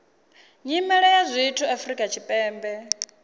nyimele ya zwithu afrika tshipembe